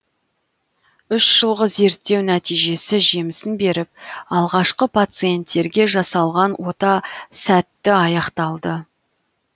үш жылғы зерттеу нәтижесі жемісін беріп алғашқы пациентерге жасалған ота сәтті аяқталды